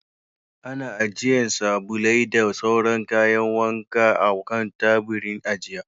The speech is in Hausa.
Ana ajiye sabulai da sauran kayan wanka a kan taburin ajiya.